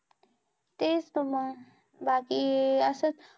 तेच मग बाकी अस च